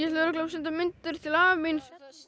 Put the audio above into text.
örugglega að senda myndir til afa míns